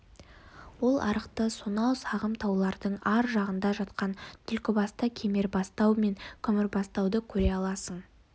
ол арқылы сонау сағым таулардың ар жағында жатқан түлкібасты кемербастау мен күмісбастауды көре аласың